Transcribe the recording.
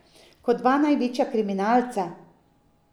Kot dva največja kriminalca.